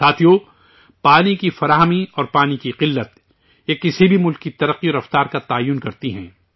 ساتھیو، پانی کی دستیابی اور پانی کی قلت، یہ کسی بھی ملک کی ترقی اور رفتار کو متعین کرتے ہیں